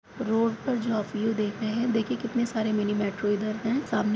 road पर जो आप व्यू देख रहे हैं देखिये कितने सारे मिनी मेट्रो इधर हैं सामने --